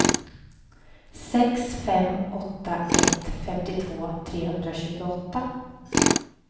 sex fem åtta ett femtiotvå trehundratjugoåtta